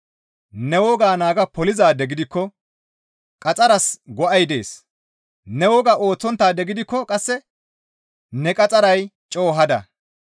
Ne wogaa naaga polizaade gidikko qaxxaras go7ay dees; ne wogaa ooththonttaade gidikko qasse ne qaxxaray coo hada.